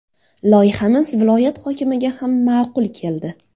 Loyihamiz viloyat hokimiga ham ma’qul keldi.